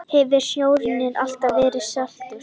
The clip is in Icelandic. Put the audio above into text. Hefur sjórinn alltaf verið saltur?